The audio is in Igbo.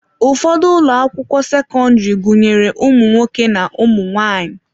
Ụfọdụ ụlọ akwụkwọ sekọndrị gụnyere ụmụ nwoke na ụmụ nwanyị.